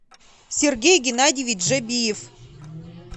сергей геннадьевич жабиев